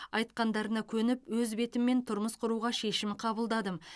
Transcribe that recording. айтқандарына көніп өз бетіммен тұрмыс құруға шешім қабылдадым